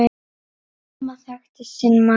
Amma þekkti sinn mann.